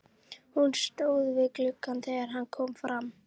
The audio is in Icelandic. Hún stóð við gluggann þegar hann kom fram.